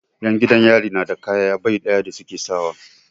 'Yan gidan yari na da kaya bai ɗaya da su ke sawa.